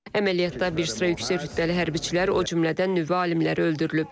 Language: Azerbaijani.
Əməliyyatda bir sıra yüksək rütbəli hərbiçilər, o cümlədən nüvə alimləri öldürülüb.